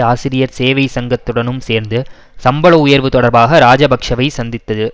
ஆசிரியர் சேவை சங்கத்துடனும் சேர்ந்து சம்பள உயர்வு தொடர்பாக இராஜபக்ஷவை சந்தித்தது